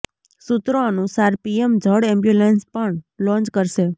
સૂત્રો અનુસાર પીએમ જળ એમ્બુલેન્સ પણ લોન્ચ કરશે